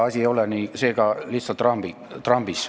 Asi ei ole seega lihtsalt Trumpis.